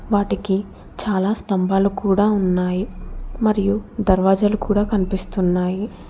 వాటికి చాలా స్తంభాలు కూడా ఉన్నాయి మరియు దర్వాజాలు కూడా కనిపిస్తున్నాయి.